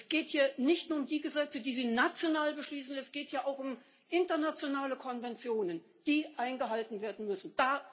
Es geht hier nicht nur um die Gesetze, die Sie national beschließen, es geht ja auch um internationale Konventionen, die eingehalten werden müssen.